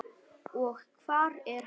Og hvar er hann?